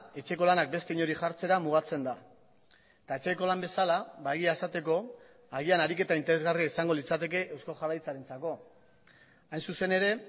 etxeko lanak beste inori jartzera mugatzen da eta etxeko lan bezala ba egia esateko agian ariketa interesgarria izango litzateke eusko jaurlaritzarentzako hain zuzen ere